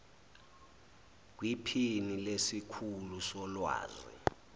kwiphini lesikhulu solwazi